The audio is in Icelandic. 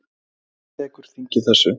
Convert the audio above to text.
Hvernig tekur þingið þessu?